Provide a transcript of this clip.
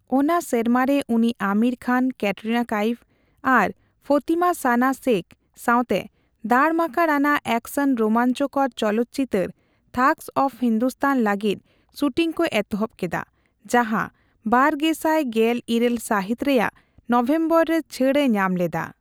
ᱚᱱᱟ ᱥᱮᱨᱢᱟᱨᱮ ᱩᱱᱤ ᱟᱢᱤᱨ ᱠᱷᱟᱱ, ᱠᱮᱴᱨᱤᱱᱟ ᱠᱟᱭᱮᱯ ᱟᱨ ᱯᱷᱚᱛᱤᱢᱟ ᱥᱟᱱᱟ ᱥᱮᱠᱷ ᱥᱟᱣᱛᱮ ᱫᱟᱲᱢᱟᱠᱟᱲ ᱟᱱᱟᱜ ᱮᱠᱥᱮᱱᱼᱨᱳᱢᱟᱧᱪᱚᱠᱚᱨ ᱪᱚᱞᱚᱛ ᱪᱤᱛᱟᱹᱨ 'ᱛᱷᱟᱜᱚᱥ ᱚᱯ ᱦᱤᱱᱫᱩᱥᱛᱟᱱ' ᱞᱟᱹᱜᱤᱫ ᱥᱩᱴᱤᱝ ᱠᱚ ᱮᱛᱚᱦᱚᱵ ᱠᱮᱫᱟ, ᱡᱟᱸᱦᱟ ᱵᱟᱨᱜᱮᱥᱟᱭ ᱜᱮᱞ ᱤᱨᱟᱹᱞ ᱥᱟᱹᱦᱤᱛ ᱨᱮᱭᱟᱜ ᱱᱚᱵᱷᱮᱢᱵᱚᱨ ᱨᱮ ᱪᱷᱟᱹᱲ ᱮ ᱧᱟᱢ ᱞᱮᱫᱟ ᱾